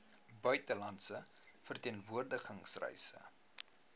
buitelandse verteenwoordiging reise